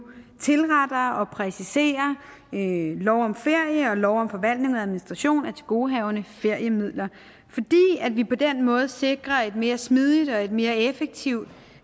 tilretter og præciserer lov om ferie og lov om forvaltning og administration af tilgodehavende feriemidler fordi vi på den måde sikrer en mere smidig og et mere effektiv